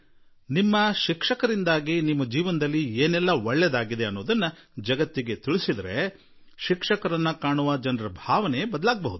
ನಿಮ್ಮ ಶಿಕ್ಷಕರಿಂದ ನಿಮ್ಮ ಜೀವನದಲ್ಲಿ ಏನಾದರೂ ಒಳಿತಾಗಿದ್ದರೆ ಅದನ್ನು ನೀವು ಜಗತ್ತಿಗೆ ತಿಳಿಸಿದರೆ ಆಗ ಶಿಕ್ಷಕರನ್ನು ನೋಡುವ ವಿಧಾನದಲ್ಲಿ ಬದಲಾವಣೆ ಬರುತ್ತದೆ